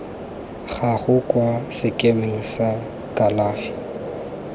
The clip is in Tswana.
gago kwa sekemeng sa kalafi